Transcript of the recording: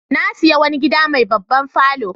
Na sayi wani gida mai babban falo.